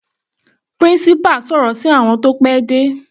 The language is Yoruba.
Principal sọ̀rọ̀ sí àwọn tí wọ́n pẹ́ dé.